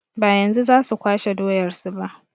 Ba yanzu za su kwashe doyar su ba.